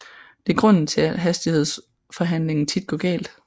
Det er grunden til at hastighedsforhandlingen tit går galt